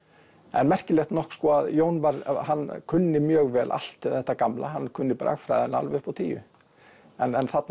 en merkilegt nokk að Jón kunni mjög vel allt þetta gamla hann kunni bragfræðina alveg upp á tíu en þarna